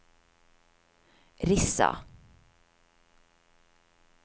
Rissa